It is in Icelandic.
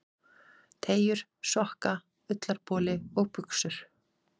Teygjur, sokka, ullarboli og buxur.